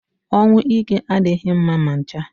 Ọnwụ ike adịghị mma ma ncha